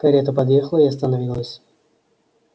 карета подъехала и остановилась